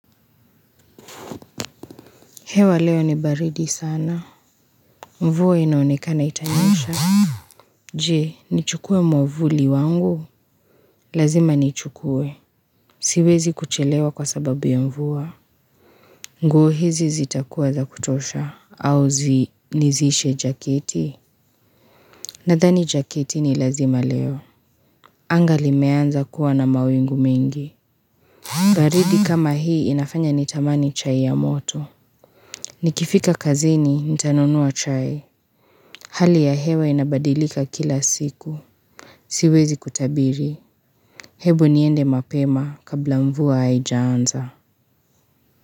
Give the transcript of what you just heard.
Hewa leo ni baridi sana. Mvua inaonekana itanyesha. Je, nichukue mwavuli wangu. Lazima nichukue. Siwezi kuchelewa kwa sababu ya mvua. Nguo hizi zitakuwa za kutosha. Au nizidishe jaketi. Nadhani jaketi ni lazima leo. Anga limeanza kuwa na mawingu mengi. Baridi kama hii inafanya nitamani chai ya moto. Nikifika kazini, nitanunua chai. Hali ya hewa inabadilika kila siku. Siwezi kutabiri. Hebu niende mapema kabla mvua haijaanza.